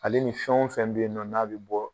Ale ni fɛn wo fɛn be yen nɔ n'a be bɔ